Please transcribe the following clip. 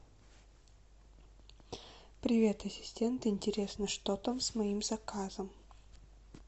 привет ассистент интересно что там с моим заказом